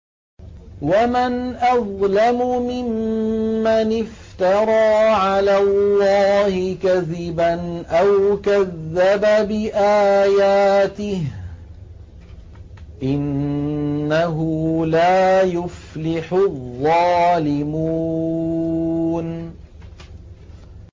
وَمَنْ أَظْلَمُ مِمَّنِ افْتَرَىٰ عَلَى اللَّهِ كَذِبًا أَوْ كَذَّبَ بِآيَاتِهِ ۗ إِنَّهُ لَا يُفْلِحُ الظَّالِمُونَ